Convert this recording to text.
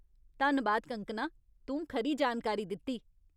धन्नबाद कंगकना, तूं खरी जानकारी दित्ती।